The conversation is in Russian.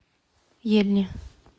ельни